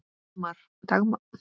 Dagmar Helga.